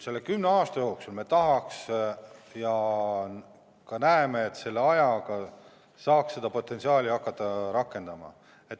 Selle kümne aasta jooksul me tahaks seda potentsiaali hakata rakendama.